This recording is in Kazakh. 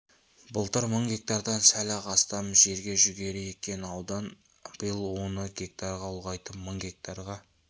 былтыр мың гектардан сәл-ақ астам жерге жүгері еккен аудан биыл оны гектарға ұлғайтып мың гектарға